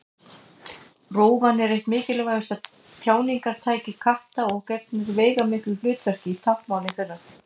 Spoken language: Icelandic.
Rófan er eitt mikilvægasta tjáningartæki katta og gegnir veigamiklu hlutverki í táknmáli þeirra.